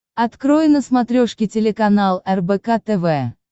открой на смотрешке телеканал рбк тв